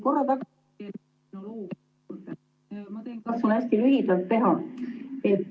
Tuleme nüüd korra tagasi, ma katsun hästi lühidalt teha.